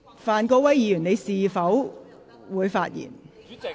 范國威議員，你是否想發言？